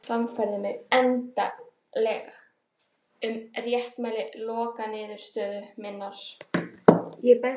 Þau rök sannfærðu mig endanlega um réttmæti lokaniðurstöðu minnar.